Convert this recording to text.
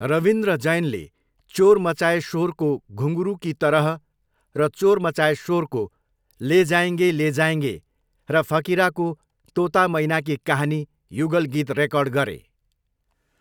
रविन्द्र जैनले चोर मचाए शोरको 'घुँघरू की तरह' र चोर मचाए शोरको 'ले जाएँगे ले जाएँगे' र फकिराको 'तोता मैना की कहानी' युगल गीत रेकर्ड गरे।